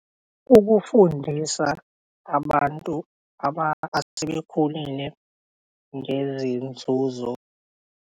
Ukufundisa abantu asebekhulile ngezinzuzo.